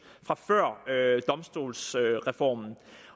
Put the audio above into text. fra før domstolsreformen